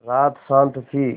रात शान्त थी